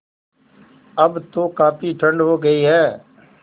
अब तो काफ़ी ठण्ड हो गयी है